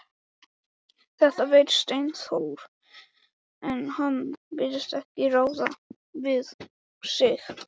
Þetta veit Steindór, en hann virðist ekki ráða við sig.